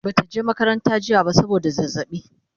Bata je makaranta ba jiya saboda zazzaɓi